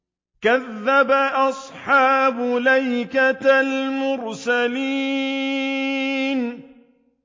كَذَّبَ أَصْحَابُ الْأَيْكَةِ الْمُرْسَلِينَ